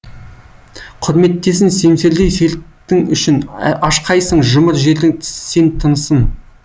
құрметтесін семсердей сертің үшін ашқайсың жұмыр жердің сен тынысын